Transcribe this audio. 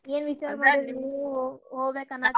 ಏನ್ ವಿಚಾರ ಮಾಡಿರಿ ನೀವ್ ಹೋಗ್ಬೇಕನ್ನಾತಿದ್ರಿ?